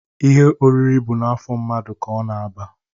Ihe oriri bụ n'afọ mmadụ ka ọ na-aba.